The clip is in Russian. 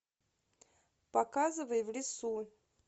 показывай в лесу